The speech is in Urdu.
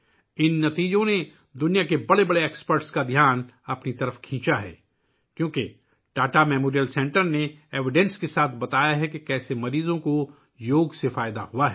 ان نتائج نے دنیا کے بڑے ماہرین کی توجہ مبذول کرائی ہے کیونکہ ٹاٹا میموریل سینٹر نے ثبوت کے ساتھ بتایا ہے کہ یوگا سے مریضوں کو کس طرح فائدہ ہوا ہے